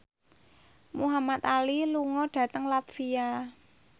Muhamad Ali lunga dhateng latvia